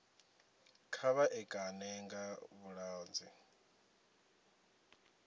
kha vha ṋekane nga vhuṱanzi